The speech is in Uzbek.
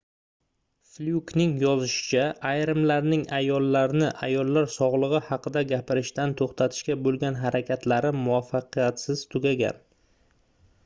flyukning yozishicha ayrimlarning ayollarni ayollar sogʻligʻi haqida gapirishdan toʻxtatishga boʻlgan harakatlari muvaffaqiyatsiz tugagan